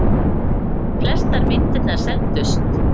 Flestar myndirnar seldust.